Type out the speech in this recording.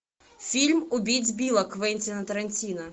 фильм убить билла квентина тарантино